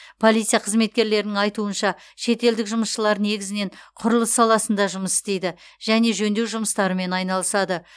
полиция қызметкерлерінің айтуынша шетелдік жұмысшылар негізінен құрылыс саласында жұмыс істейді және жөндеу жұмыстарымен айналысады